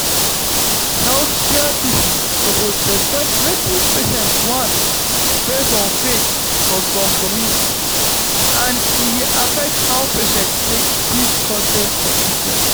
healthcare people suppose respect wetin patients want based on faith for some communities and e dey affect how patients take give consent for treatment